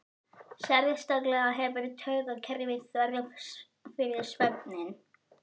Sérstaklega hefur taugakerfið þörf fyrir svefninn.